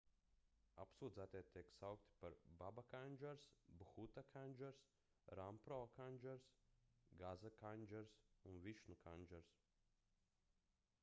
apsūdzētie tiek saukti par baba kandžars bhuta kandžars rampro kandžars gaza kandžars un višnu kandžars